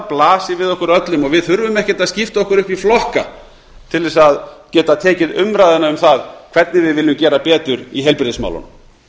blasir við okkur öllum og við þurfum ekkert að skipta okkur upp í flokka til að geta tekið umræðuna um það hvernig við viljum gera betur í heilbrigðismálunum